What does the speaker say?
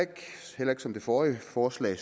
som ved det forrige forslag